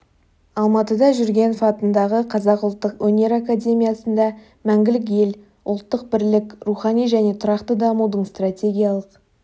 алматыда жүргенов атындағы қазақ ұлттық өнер академиясында мәңгілік ел ұлттық бірлік рухани және тұрақты дамудың стратегиялық